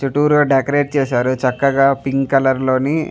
చుట్టురా decorate చేసారు చక్కగా pink colour లోని --